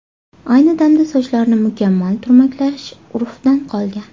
Ayni damda sochlarni mukammal turmaklash urfdan qolgan.